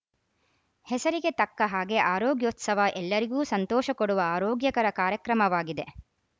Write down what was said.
ಹೆಸರಿಗೆ ತಕ್ಕ ಹಾಗೆ ಆರೋಗ್ಯೊತ್ಸವ ಎಲ್ಲರಿಗೂ ಸಂತೋಷ ಕೊಡುವ ಆರೋಗ್ಯಕರ ಕಾರ್ಯಕ್ರಮವಾಗಿದೆ